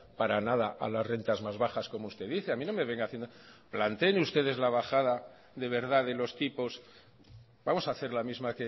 para nada a las rentas más bajas como usted dice a mí no me venga haciendo planteen ustedes la bajada de verdad de los tipos vamos a hacer la misma